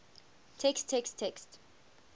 text text text